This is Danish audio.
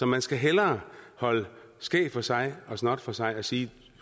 man skal hellere holde skæg for sig og snot for sig og sige